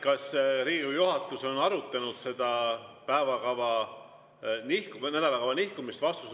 Kas Riigikogu juhatus on arutanud seda päevakava või nädalakava nihkumist?